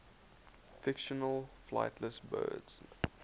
fictional flightless birds